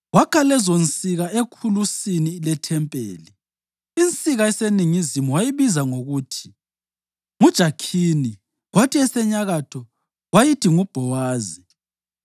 Wakha lezonsika ekhulusini lethempeli. Insika eseningizimu wayibiza ngokuthi nguJakhini kwathi esenyakatho wayithi nguBhowazi.